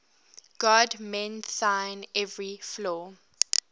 god mend thine every flaw